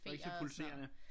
Det var ikke så pulserende